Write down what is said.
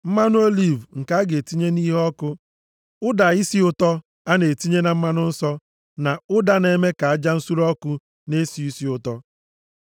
mmanụ oliv nke a ga-etinye nʼiheọkụ, ụda isi ụtọ a na-etinye na mmanụ nsọ, na ụda na-eme ka aja nsure ọkụ na-esi isi ụtọ;